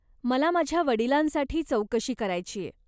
मला माझ्या वडिलांसाठी चौकशी करायचीय.